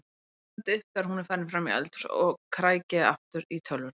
Stend upp þegar hún er farin fram í eldhús og kræki aftur í tölvuna.